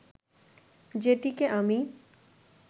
যেটিকে আমি